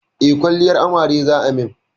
Eh, kwalliyar amare za a min